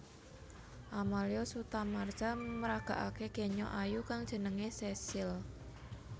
Amalya Sutamarza maraggakaké kenya ayu kang jenengé Cecille